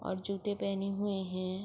اور جوتے پہنے ہوئے ہے۔